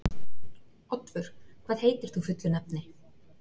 Oddvör, hvað heitir þú fullu nafni?